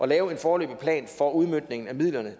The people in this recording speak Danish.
lave en foreløbig plan for udmøntning af midlerne